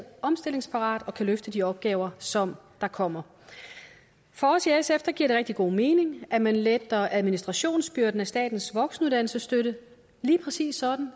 omstillingsparat og kan løfte de opgaver som kommer for os i sf giver det rigtig god mening at man letter administrationsbyrden ved statens voksenuddannelsesstøtte lige præcis sådan